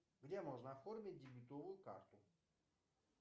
где можно оформить дебетовую карту